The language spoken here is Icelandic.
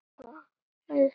Ef svo er, hvernig þá?